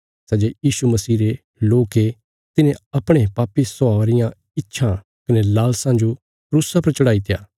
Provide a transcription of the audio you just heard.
सै जे यीशु मसीह रे लोक ये तिन्हें अपणे पापी स्वभावा रियां इच्छां कने लालसां जो क्रूसा पर चढ़ाईत्या